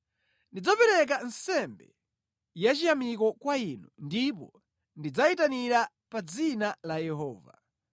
Ndidzapereka nsembe yachiyamiko kwa Inu ndipo ndidzayitanira pa dzina la Yehova.